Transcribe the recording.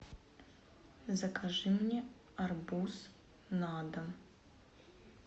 закажи мне арбуз на дом